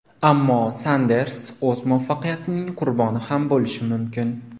Ammo Sanders o‘z muvaffaqiyatining qurboni ham bo‘lishi mumkin.